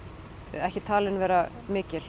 ekki talin vera mikil